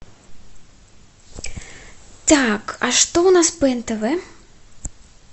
так а что у нас по нтв